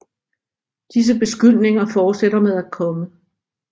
Disse beskyldninger fortsætter med at komme